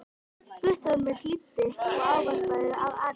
Guttormur hlýddi á ávarpið af athygli.